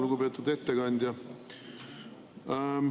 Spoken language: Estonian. Lugupeetud ettekandja!